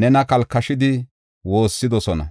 nena kalkashidi woossidosona.